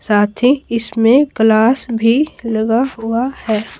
साथी इसमें ग्लास भी लगा हुआ है।